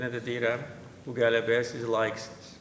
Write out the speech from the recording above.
Yenə də deyirəm, bu qələbəyə siz layiqsiniz.